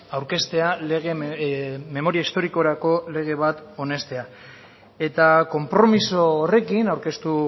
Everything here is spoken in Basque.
aurkeztea memoria historikorako lege bat onestea eta konpromiso horrekin aurkeztu